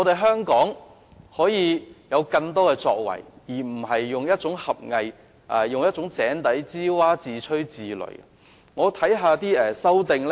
香港是可以有更多作為的，大家不應以狹隘、井底之蛙、自吹自擂的態度看待此事。